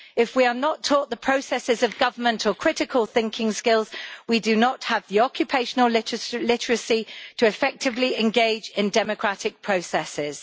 If we are not taught the processes of government, or critical thinking skills, we do not have the occupational literacy to effectively engage in democratic processes.